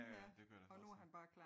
Ja ja det kunne jeg da forestille mig